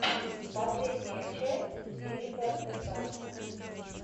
последняя часть филипа де франко